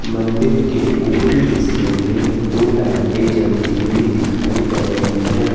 मंदिर के ऊपरी हिस्से में दो लाइटें जलती हुई दिखाई पड़ रही हैं।